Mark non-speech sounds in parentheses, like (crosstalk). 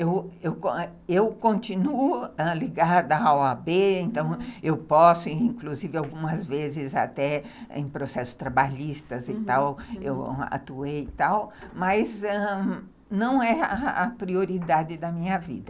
Eu (unintelligible) eu continuo ligada a ó a bê, então eu posso, inclusive algumas vezes até em processos trabalhistas e tal, eu atuei e tal, mas, ãh, não é a prioridade da minha vida.